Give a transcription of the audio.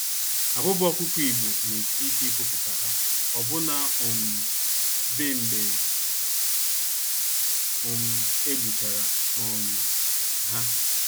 Abụba ọkụkọ Igbo, n'esi ike ifopụta ha, ọbụna um dị mgbe um egbuchara um ha.